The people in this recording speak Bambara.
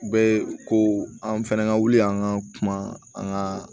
U bɛ ko an fɛnɛ ka wuli an ka kuma an ka